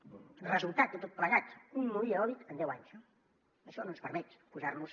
el resultat de tot plegat un molí eòlic en deu anys no això no ens permet posar nos